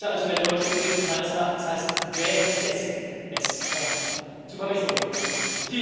Es müsste also eine deutsche Übersetzung meines Erachtens heißen währenddessen es zu Verbesserungen gekommen ist.